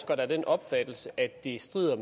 der er af den opfattelse at det strider